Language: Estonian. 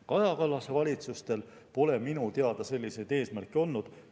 Kaja Kallase valitsustel pole minu teada selliseid eesmärke olnud.